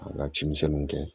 An ka cimisɛnnuw kɛ